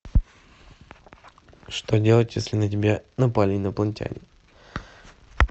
что делать если на тебя напали инопланетяне